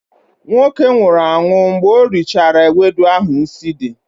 nwoke nwụhuru anwụ mgbe ori chara ewedu ahu nsi di